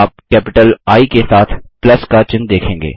आप capital I के साथ प्लस का चिन्ह देखेंगे